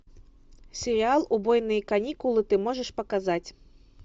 сериал убойные каникулы ты можешь показать